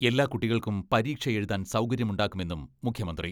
എല്ലാ കുട്ടികൾക്കും പരീക്ഷ എഴുതാൻ സൗകര്യമുണ്ടാക്കുമെന്നും മുഖ്യമന്ത്രി.